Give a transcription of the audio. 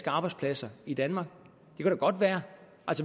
arbejdspladser i danmark